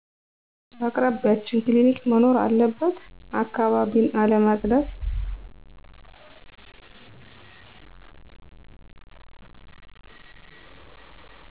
በአቅራቢችን ክሊኒክ መኖር አለበት አካባቢን አለማፀዳት